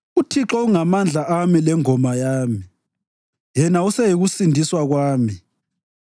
UThixo ungamandla ami lengoma yami; yena useyikusindiswa kwami.